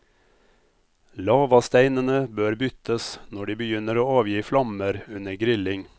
Lavasteinene bør byttes når de begynner å avgi flammer under grilling.